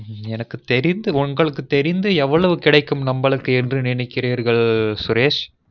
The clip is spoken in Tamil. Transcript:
எனக்கு தெரிந்து உங்களுக்கு தெரிந்து எவ்வளவு கிடைக்கும் நம்மலுக்கு என்று நினைக்கிறீர்கள் சரேஷ்